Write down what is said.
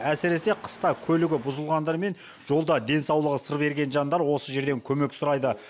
әсіресе қыста көлігі бұзылғандар мен жолда денсаулығы сыр берген жандар осы жерден көмек сұрайды